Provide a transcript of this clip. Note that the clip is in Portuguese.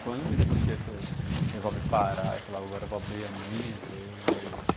Quando e por que você resolve parar e falar, agora vou abrir a minha empresa e